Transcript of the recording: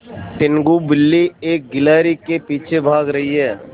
टीनगु बिल्ली एक गिल्हरि के पीछे भाग रही है